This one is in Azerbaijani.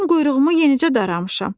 Mən quyruğumu yenicə daramışam."